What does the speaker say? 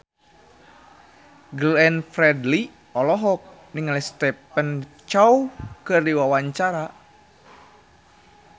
Glenn Fredly olohok ningali Stephen Chow keur diwawancara